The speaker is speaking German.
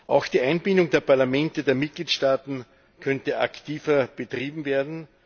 Auch die Einbindung der Parlamente der Mitgliedstaaten könnte aktiver betrieben werden.